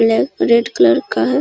ले red colour का है।